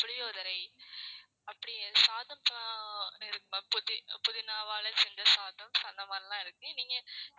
புளியோதரை அப்படியே சாதம் ஆஹ் புதி~ புதினாவால செஞ்ச சாதம் அந்த மாதிரிலாம் இருக்கு. நீங்க